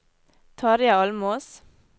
Tarjei Almås